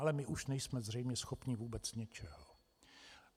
Ale my už nejsme zřejmě schopni vůbec ničeho.